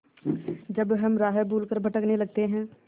जब हम राह भूल कर भटकने लगते हैं